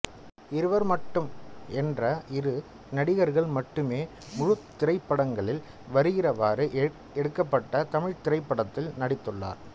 இருவர் மட்டும் என்ற இரு நடிகர்கள் மட்டுமே முழு திரைப்படங்களில் வருகிறவாறு எடுக்கப்பட்ட தமிழ் திரைப்படத்தில் நடித்துள்ளார்